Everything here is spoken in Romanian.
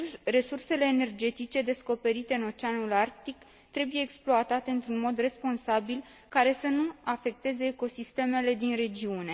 Resursele energetice descoperite în Oceanul Arctic trebuie exploatate într un mod responsabil, care să nu afecteze ecosistemele din regiune.